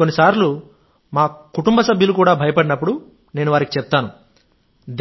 కొన్నిసార్లు మా కుటుంబ సభ్యులు కూడా భయపడినప్పుడు నేను వారికి చెప్తాను